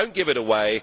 Do not give it away!